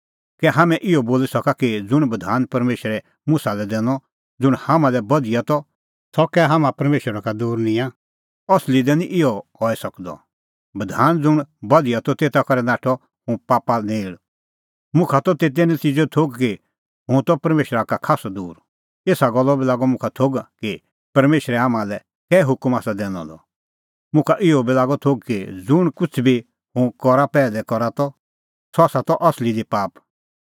कै हाम्हैं इहअ बोली सका कि ज़ुंण बधान परमेशरै मुसा लै दैनअ ज़ुंण हाम्हां लै बधिया त सह कै हाम्हां परमेशरा का दूर निंयां असली दी निं इहअ हई सकदअ बधान ज़ुंण बधिया त तेता करै नाठअ हुंह पापा नेल़ मुखा त तेते नतिज़ेओ थोघ कि हुंह त परमेशरा का खास्सअ दूर एसा गल्लो बी लागअ मुखा थोघ कि परमेशरै हाम्हां लै कै हुकम आसा दैनअ द मुखा इहअ बी लागअ थोघ कि ज़ुंण किछ़ बी हुंह करा पैहलै करा त सह त असली दी पाप